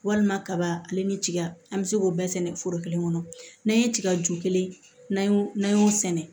Walima kaba ale ni tiga an bɛ se k'o bɛɛ sɛnɛ foro kelen kɔnɔ n'an ye tiga ju kelen n'an y'o sɛnɛ